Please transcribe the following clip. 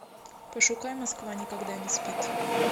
пошукай москва никогда не спит